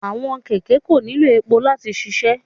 Awọn kẹkẹ ko nilo epo lati ṣiṣẹ